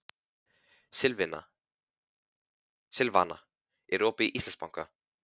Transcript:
Silvana, er opið í Íslandsbanka?